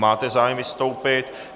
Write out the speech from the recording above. Máte zájem vystoupit.